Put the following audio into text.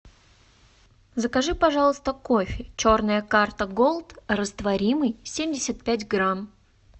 закажи пожалуйста кофе черная карта голд растворимый семьдесят пять грамм